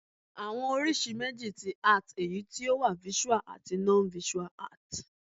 Àwọn oríṣi méjì ti Art èyí tí o wà Visual àti Non-visual Art